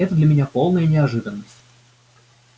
это для меня полная неожиданность